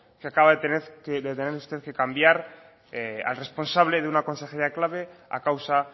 que acaba de tener usted que cambiar al responsable de una consejería clave a causa